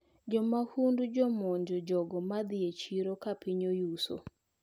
Jomahundu jomonjo jogo madhi e chiro kapiny oyuso.